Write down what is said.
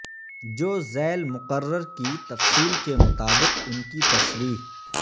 جو ذیل مقرر کی تفصیل کے مطابق ان کی تشریح